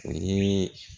O ye